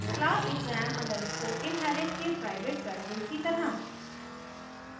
class exam _ inherit के private variables की तरह